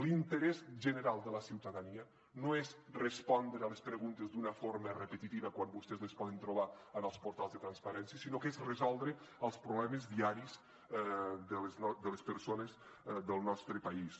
l’interès general de la ciutadania no és respondre a les preguntes d’una forma repetitiva quan vostès les poden trobar en els portals de transparència sinó que és resoldre els problemes diaris de les persones del nostre país